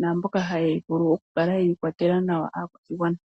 naamboka haya vulu oku kala yeyi kwatela nawa aakwashigwana.